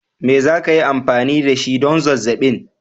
Me za ki yi amfani da shi don zazzabin?